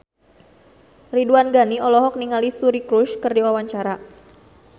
Ridwan Ghani olohok ningali Suri Cruise keur diwawancara